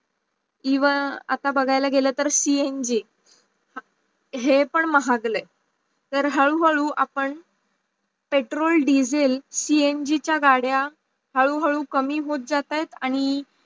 किव्वा आता बघाय्ल गेल तर CNG हे पण महागल्या तर हाडू हाडू आपण पेट्रोल, दिसेल CNG चा गाड्या हाडू हाडू कमी होत जाताय आणी